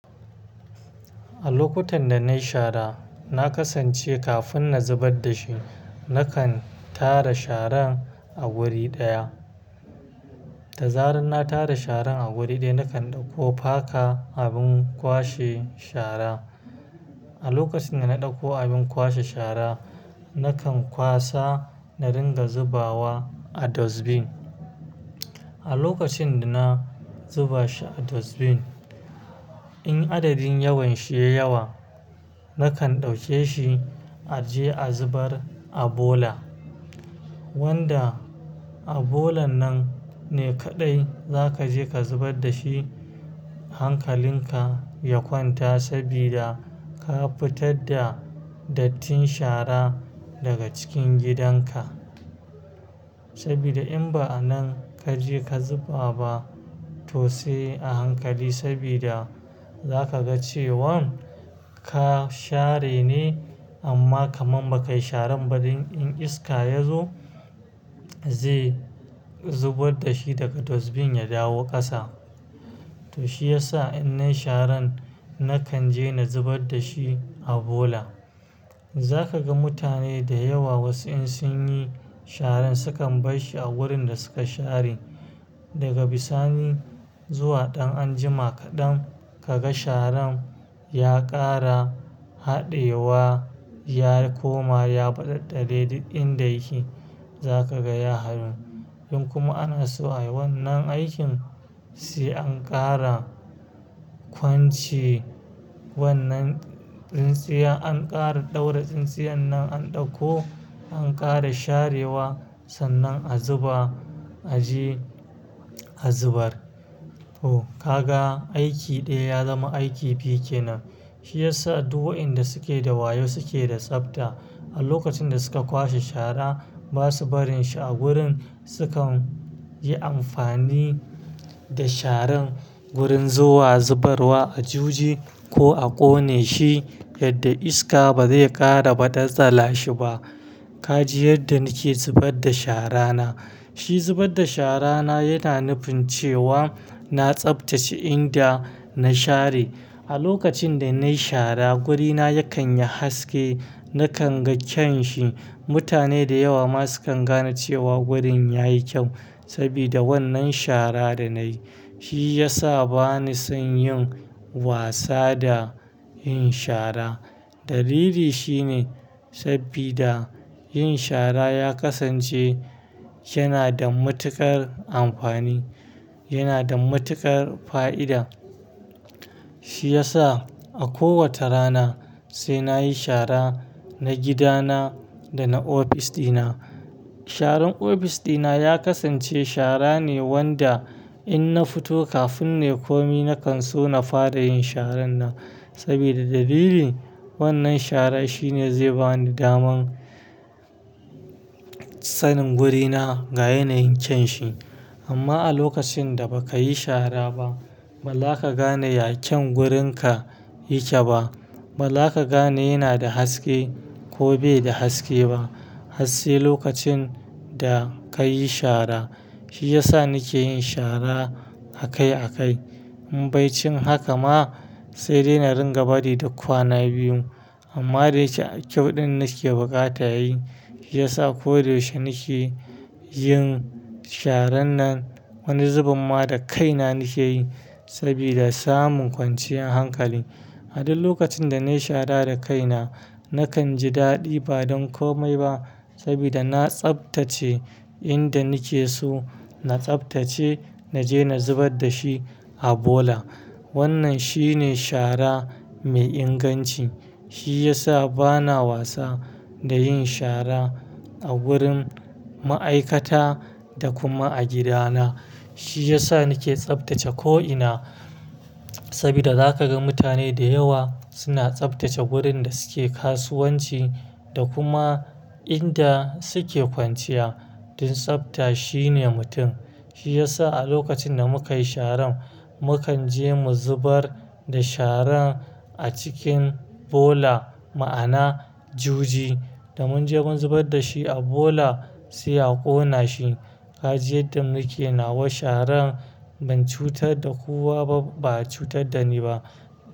A lokutan da nayi shara, na kasance kafin na zubar da shi nakan tara sharan a wuri ɗaya. Da zaran na tara sharan a wuri ɗaya nakan ɗauko faka abin kwashe shara. A lokacin da na ɗauko abin kwashe shara, nakan kwasa na ringa zubawa a dustbin. A lokacin da na zuba shi a dustbin, in adadin yawan shi ya yawa nakan ɗauke shi a je a zubar a bola. Wanda a bola nan ne kaɗai zaka je ka zubar da shi hankalin ka ya kwanta sabida ka fitar da dattin shara daga cikin gidan ka. Sabida in ba a nan kaje ka zuba ba to sai a hankali sabida zaka ga cewan ka share ne amma kaman baka yi sharan ba dan in iska yazo zai zubar da shi daga dustbin ya dawo ƙasa. To shi yasa in nayi sharan nakan je na zubar da shi a bola. Zaka ga mutane da yawa wasu in sun yi sharan sukan bar shi a wurin da suka share. Daga bisani zuwa ɗan anjima kaɗam kaga sharan ya ƙara haɗewa, ya koma, ya baɗaɗɗare duk inda yake zaka gaya harin. Tun kuma ana so a yi wannan aikin, sai an ƙara kwanci wannan tsintsiya, an ƙara ɗaura tsintsiyan nan an ɗauko an ƙara sharewa sannan a zuba a je a zubar. To kaga aiki ɗaya ya zama aiki biyu kenan. Shi yasa duk waɗanda suke da wayo suke da tsafta. A lokacin da su ka kwashe shara ba su barin shi a gurin, sukan yi amfani da sharan wurin zuwa zubarwa a juji ko a ƙone shi yadda iska ba zai ƙara baɗaɗɗala shi ba. Ka ji yadda nike zubar da shara na. Shi zubar da shara na yana nufin cewa na tsaftace inda na share. A lokacin da nayi shara wurina yakan yi haske nakan ga kyan shi. Mutane da yawa ma sukan gane cewa wurin yayi kyau sabida wannan shara da nayi. Shi yasa bani son yin wasa da yin shara. Dalili shine sabida yin shara ya kasance yana da matuƙar amfani, yana da matuƙar fa'ida. Shi yasa a kowace rana sai nayi shara na gidana da na ofis ɗina. Sharan ofis ɗina ya kasance shara ne wanda in na fito kafin nei komai nakan so na fara yin sharan nan sabida dalilin wannan shara shine zai bani daman sanin wurina ga yanayin kyan shi. Amma a lokacin da baka yi shara ba ba za ka gane ya kyan wurinka yake ba. Ba za ka gane yana da haske ko bai da haske ba. Hasse lokacin da kayi shara. Shi yasa nike yin shara a kai a kai. In bai cin haka ma sai dai na ringa bari da kwana biyun. Amma da yike a kyau ɗin nike buƙata yi shi yasa koyaushe nike yin sharan nan wani zuben ma da kaina nike yi sabida samun kwanciyar hankali. A duk lokacin da nayi shara da kaina nakan ji daɗi ba don komai ba sabida na tsaftace inda nike so, na tsaftace naje na zubar da shi a bola. Wannan shine shara mai inganci. Shi yasa bana wasa da yin shara a wurin ma'aikata da kuma a gidana. Shi yasa nike tsaftace ko ina sabida za ka ga mutane da yawa suna tsaftace wurin da suke kasuwanci da kuma inda suke kwanciya. Dun tsafta shine mutum. Shi yasa a lokacin da muka yi sharan mu kan je mu zubar da sharan a cikin bola ma'ana juji. Da mun je mun zubar da shi a bola sai a ƙona shi. Ka ji yadda nike nawa sharan ban cutar da kowa ba, ba a cutar da ni ba.